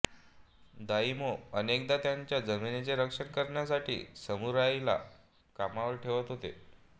daimyo अनेकदा त्यांच्या जमिनीचे रक्षण करण्यासाठी सामुराईला कामावर ठेवत होते